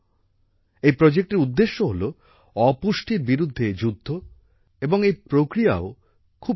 এই প্রজেক্টের উদ্দেশ্য হল অপুষ্টির বিরুদ্ধে যুদ্ধ এবং এই প্রক্রিয়াও খুব Unique